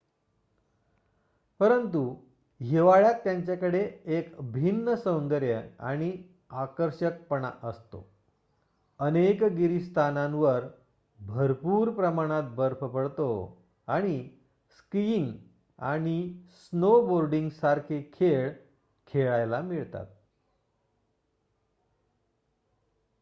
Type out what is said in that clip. परंतु हिवाळ्यात त्यांच्याकडे एक भिन्न सौंदर्य आणि आकर्षकपणा असतो अनेक गिरीस्थानांवर भरपूर प्रमाणात बर्फ पडतो आणि स्किईंग आणि स्नोबोर्डींगसारखे खेळ खेळायला मिळतात